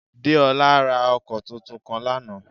Déolá ra ọkọ̀ tuntun kan lánàá